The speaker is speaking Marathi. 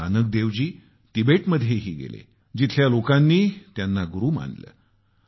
गुरूनानक देवजी तिबेटमध्येही गेले जिथल्या लोकांनी त्यांना गुरू मानले